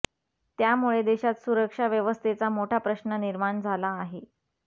त्यामुळे देशात सुरक्षा व्यवस्थेचा मोठा प्रश्न निर्माण झाला आहे